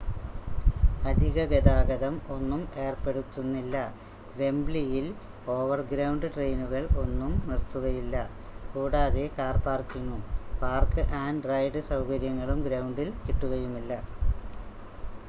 അധിക ഗതാഗതം ഒന്നും ഏർപ്പെടുത്തുന്നില്ല വെംബ്ലിയിൽ ഓവർഗ്രൗണ്ട് ട്രെയിനുകൾ ഒന്നും നിർത്തുകയില്ല കൂടാതെ കാർ പാർക്കിങ്ങും പാർക്ക് ആൻഡ് റൈഡ് സൗകര്യങ്ങളും ഗ്രൗണ്ടിൽ കിട്ടുകയുമില്ല